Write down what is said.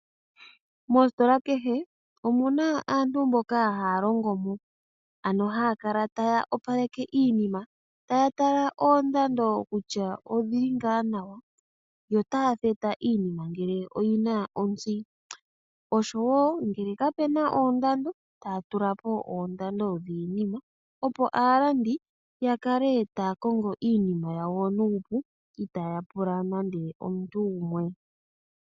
Mositola kehe omuna aantu mboka haya longomo, ano haya kala taya opaleke iinima. Taya tala oondando kutya odhili ngaa nawa , yo taya theta iinima ngele oyina ontsi oshowoo ngele kapuna ondando taya tulapo oondando dhiinima opo aalandi yakale taya kongo iinimao nuupu itaaya pula nande omuntu.